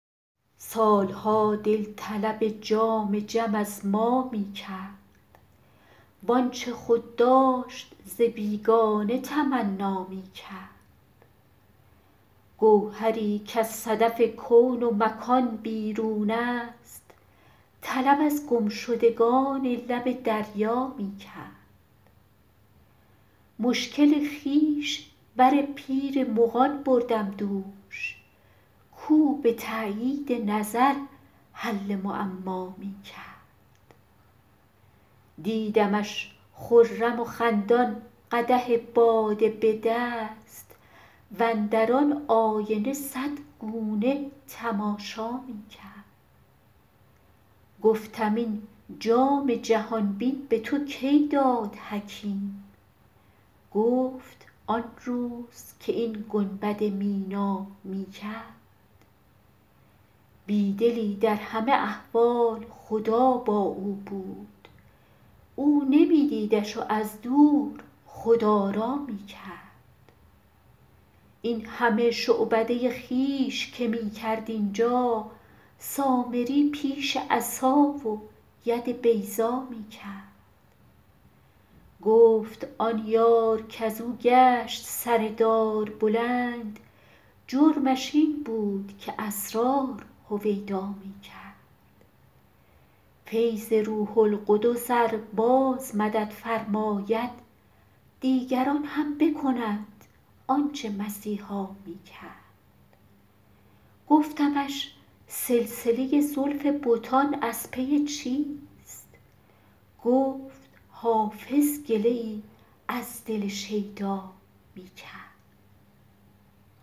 سال ها دل طلب جام جم از ما می کرد وآنچه خود داشت ز بیگانه تمنا می کرد گوهری کز صدف کون و مکان بیرون است طلب از گمشدگان لب دریا می کرد مشکل خویش بر پیر مغان بردم دوش کاو به تأیید نظر حل معما می کرد دیدمش خرم و خندان قدح باده به دست واندر آن آینه صد گونه تماشا می کرد گفتم این جام جهان بین به تو کی داد حکیم گفت آن روز که این گنبد مینا می کرد بی دلی در همه احوال خدا با او بود او نمی دیدش و از دور خدارا می کرد این همه شعبده خویش که می کرد اینجا سامری پیش عصا و ید بیضا می کرد گفت آن یار کز او گشت سر دار بلند جرمش این بود که اسرار هویدا می کرد فیض روح القدس ار باز مدد فرماید دیگران هم بکنند آن چه مسیحا می کرد گفتمش سلسله زلف بتان از پی چیست گفت حافظ گله ای از دل شیدا می کرد